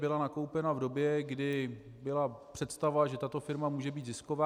Byla nakoupena v době, kdy byla představa, že tato firma může být zisková.